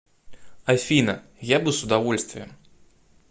афина я бы с удовольствием